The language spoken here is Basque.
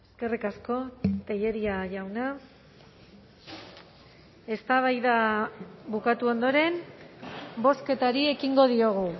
eskerrik asko tellería jauna eztabaida bukatu ondoren bozketari ekingo diogu